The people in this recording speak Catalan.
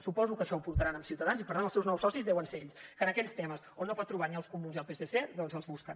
suposo que això ho portaran amb ciutadans i per tant els seus nous socis deuen ser ells que en aquells temes on no pot trobar ni els comuns ni el psc doncs els busquen